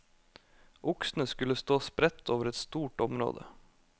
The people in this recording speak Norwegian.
Oksene skulle stå spredt over et stort område.